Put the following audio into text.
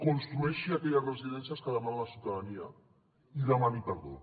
construeixi aquelles residències que demana la ciutadania i demani perdó